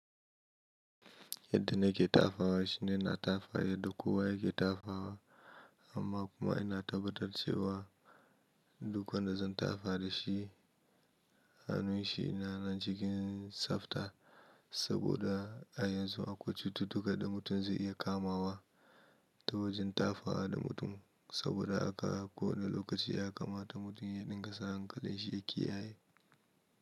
Yadda na ke tafawa shine ina tafaya, yanda kowa yake tafawa amma kuma ina tabbatar cewa duk wanda zan tafa da shi, hannun shi yana nan cikin tsafta. Saboda a yanzu akwai cututtuka da mutum zai iya kamawa ta wajen tafawa da mutum. Saboda a kowane lokaci ya kamata mutum ya dinga sa hankalin shi ya kiyaye.